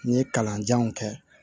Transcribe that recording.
N ye kalanjanw kɛ